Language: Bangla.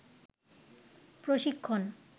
প্রশিক্ষন